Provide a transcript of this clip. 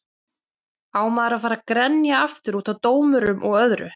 Á maður að fara að grenja aftur útaf dómurum og öðru?